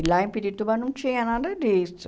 E lá em Pirituba não tinha nada disso.